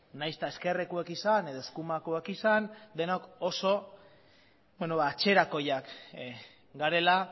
nahiz eta ezkerrekoak izan edo eskumakoak izan denok oso atzerakoiak garela